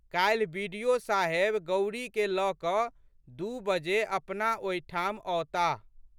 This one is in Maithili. काल्हि बि.डि.ओ.साहेब गौरीके लऽ कऽ दू बजे अपना ओहिठाम अओताह।